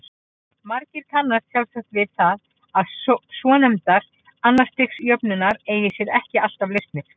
Margir kannast sjálfsagt við það að svonefndar annars stigs jöfnur eiga sér ekki alltaf lausnir.